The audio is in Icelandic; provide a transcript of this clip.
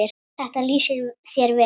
Þetta lýsir þér vel.